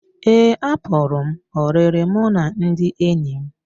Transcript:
Ee, apụrụ m oriri mụ na ndị enyi m